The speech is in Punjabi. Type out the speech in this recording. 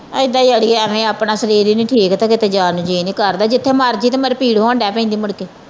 ਇਹਦਾ ਈ ਆ ਅੜੀਏ ਐਵੇ ਆਪਣਾ ਸਰੀਰ ਈ ਨਹੀਂ ਠੀਕ ਤੇ ਕਿਤੇ ਜਾਣ ਨੂੰ ਜੀਅ ਨਹੀਂ ਕਰਦਾ ਜਿਥੇ ਮਰਜੀ ਤੇ ਮੇਰੇ ਭੀੜ ਹੋਣ ਦਏ ਪੈਂਦੀ ਮੁੜਕੇ।